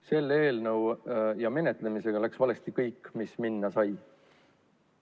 Selle eelnõu menetlemisel läks valesti kõik, mis valesti sai minna.